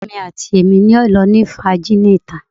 Awọn ọrẹ mi ati Emi yoo wa ni lilọ lati ni fun lori awọn ita